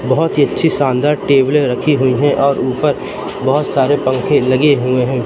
बहुत ही अच्छी शानदार टेबलें रखी हुई हैं और ऊपर बहुत सारे पंखे लगे हुए हैं।